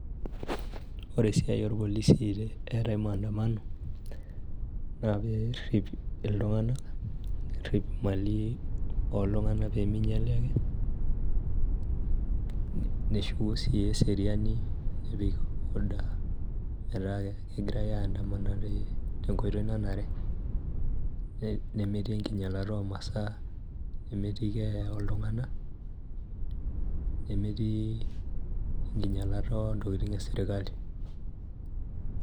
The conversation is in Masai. Ore esiai orpolisi eetae maandamano, naa perrip iltung'anak, nerrip imali oltung'anak peminyali ake, neshuku si eseriani nepik order metaa kegirai aiandamana tenkoitoi nanare. Nemetii enkinyalata omasaa, nemetii keeya oltung'anak, nemetii enkinyalata ontokiting esirkali.